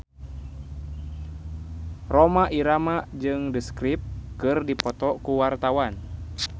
Rhoma Irama jeung The Script keur dipoto ku wartawan